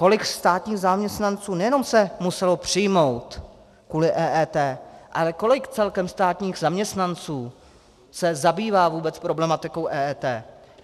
Kolik státních zaměstnanců nejenom se muselo přijmout kvůli EET, ale kolik celkem státních zaměstnanců se zabývá vůbec problematikou EET.